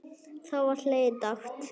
Þá var hlegið dátt.